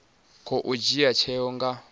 kona u dzhia tsheo nga